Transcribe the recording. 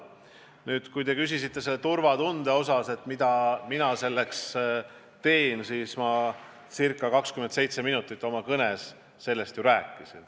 Nüüd, kui te küsite turvatunde kohta, mida mina selle nimel teen, siis ma ca 27 minutit oma kõnes sellest ju rääkisin.